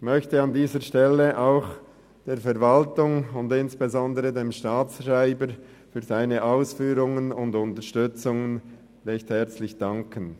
Ich möchte an dieser Stelle auch der Verwaltung und insbesondere dem Staatsschreiber für seine Ausführungen und seine Unterstützung herzlich danken.